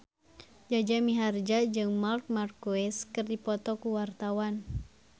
Jaja Mihardja jeung Marc Marquez keur dipoto ku wartawan